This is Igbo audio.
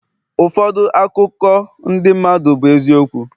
ụfọdụ akụkọ ndị mmadụ bụ eziokwu